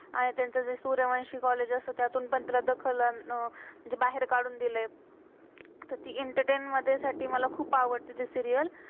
आणि त्यांचं जे सूर्यवंशी कॉलेज college असतं, त्यातून पण तिला दखल अं म्हणजे बाहेर काडून दिलेय. एंटरटेन मधे साठी खुप आवडत्य ते सीरियल serial.